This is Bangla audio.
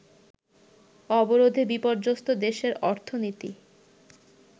অবরোধে বিপর্যস্ত দেশের অর্থনীতি